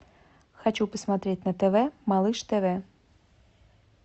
хочу посмотреть на тв малыш тв